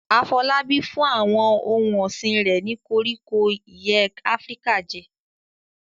Afolabi fún àwọn ohun ọ̀sìn rẹ̀ ní koríko ìyẹ́ Áfíríkà jẹ.